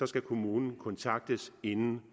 skal kommunen kontaktes inden